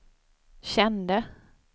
kände